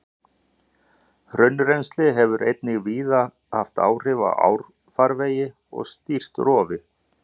Hraunrennsli hefur einnig víða haft áhrif á árfarvegi og stýrt rofi.